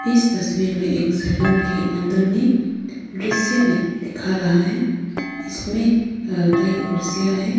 इस तस्वीर में एक सालों के अंदर में दृश्य दि दिखा रहा है इसमें अ कई कुर्सियां है।